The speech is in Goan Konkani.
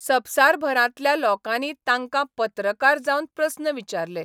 संवसारभरांतल्या लोकांनी तांकां पत्रकार जावन प्रस्न विचारले.